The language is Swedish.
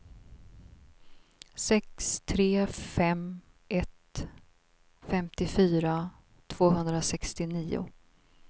sex tre fem ett femtiofyra tvåhundrasextionio